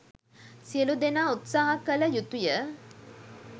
සියලු දෙනා උත්සාහ කළ යුතුය.